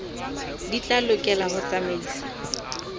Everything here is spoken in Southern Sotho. di tla lokela ho tsamaisa